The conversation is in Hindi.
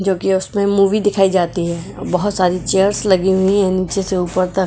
जो कि उसमें मूवी दिखाई जाती है बहुत सारी चेयर्स लगी हुई है नीचे से ऊपर तक।